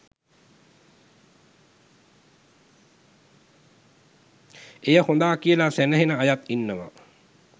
එය හොඳා කියල සැනහෙන අයත් ඉන්නවා.